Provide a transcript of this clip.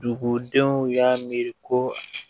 Dugudenw y'a miiri ko